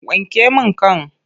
Wanke min kan!